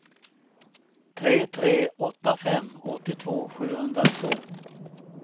tre tre åtta fem åttiotvå sjuhundratvå